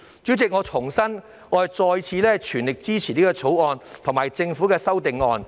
主席，我重申，我全力支持《條例草案》及政府的修正案。